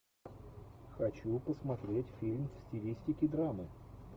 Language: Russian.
хочу посмотреть фильм в стилистике драмы